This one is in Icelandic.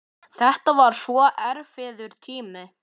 Þetta var svo erfiður tími.